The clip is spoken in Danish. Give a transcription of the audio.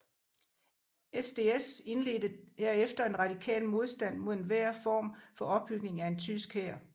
SDS indledte herefter en radikal modstand mod enhver form for opbygning af en tysk hær